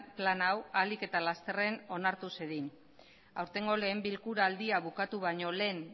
plan hau ahalik eta lasterren onartu zedin aurtengo lehen bilkuraldia bukatu baino lehen